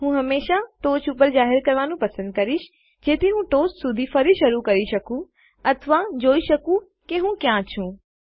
હું હંમેશા ટોચ પર જાહેર કરવાનું પસંદ કરીશ જેથી હું ટોચ શુધી ફરી શરૂ કરી શકું અથવા જોઈ શકું કે હું ક્યાં છું